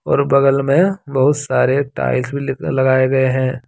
और बगल में बहुत सारे टाइल्स भी लगाए गए हैं।